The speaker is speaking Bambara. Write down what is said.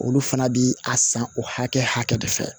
Olu fana bi a san o hakɛ de fɛ